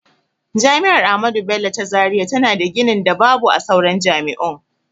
Jami'ar ahmadu bello ta zaria tana da ginin da babu a sauran jami'un.